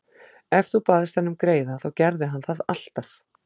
Ef þú baðst hann um greiða þá gerði hann það alltaf.